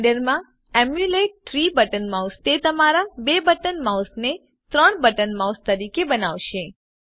Blender માંEmulate 3 button mouseતે તમારા 2 બટન માઉસ ને 3 બટન માઉસ તરીકે બનાવશે